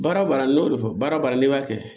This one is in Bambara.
Baara baara ne y'o de fɔ baara n'i b'a kɛ